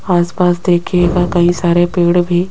आसपास देखिएगा कई सारे पेड़ भी--